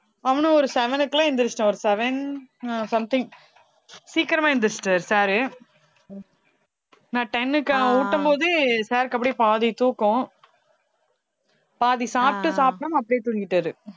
அவனும் ஒரு seven க்கு எல்லாம் எந்திரிச்சுட்டான் ஒரு seven அ something சீக்கிரமா எந்திரிச்சுட்டாரு sir உ நான் ten க்கு ஊட்டும் போது sir க்கு அப்படியே பாதி தூக்கம் பாதி சாப்பிட்டு சாப்பிடாம அப்படியே தூங்கிட்டாரு